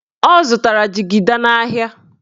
Ọ zụtara jigida n'ahịa.